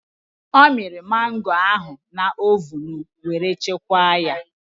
Ọ mịrị mangoo ahụ na ovun were chekwaa ya.